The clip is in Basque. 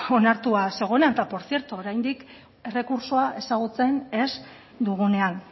onartua zegoena eta por cierto oraindik errekurtsoa ezagutzen ez dugunean